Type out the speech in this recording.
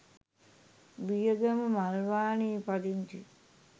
බියගම මල්වානේ පදිංචි